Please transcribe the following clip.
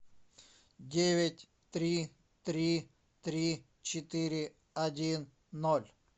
девять три три три четыре один ноль